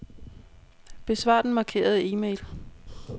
Besvar den markerede e-mail.